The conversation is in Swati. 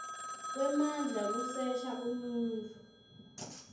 kwemandla kusesha umuntfu